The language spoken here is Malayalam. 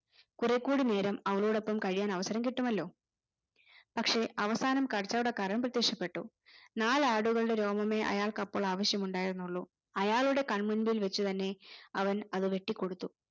കുറെക്കൂടി നേരം അവളോടൊപ്പം കഴിയാൻ അവസരം കിട്ടുമല്ലോ പക്ഷേ അവസാനം കച്ചവടക്കാരൻ പ്രത്യക്ഷപ്പെട്ടു നാലാടുകളുടെ രോമമെ അയാൾക്ക് അപ്പോൾ ആവിശ്യമുണ്ടായിരുന്നുള്ളൂ അയാളുടെ കൺമുമ്പിൽ വെച്ചുതന്നെ അവൻ അത് വെട്ടികൊടുത്തു